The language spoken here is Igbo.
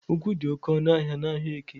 Ugwu di oke onu n’Ahiaeke